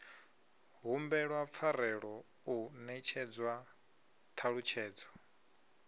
humbelwa pfarelo u netshedzwa ṱhalutshedzo